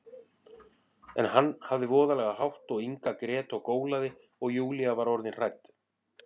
En hann hafði voðalega hátt og Inga grét og gólaði, og Júlía var orðin hrædd.